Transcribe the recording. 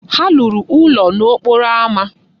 Ha lụrụ ụlọ n'okporo ámá.